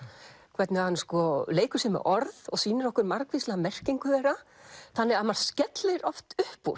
hvernig hann leikur sér með orð og sýnir okkur margvíslega merkingu þeirra þannig að maður skellir oft upp úr